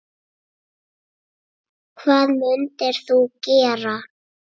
Hvað mundir þú gera?